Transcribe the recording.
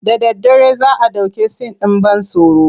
Da daddare za a ɗauki sin ɗin ban tsoro.